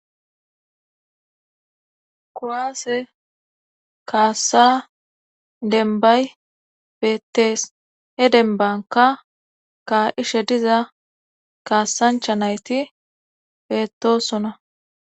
Koaase kaassa denbay beettees he denbanka ka'she diza kaassancha nayti beettosona.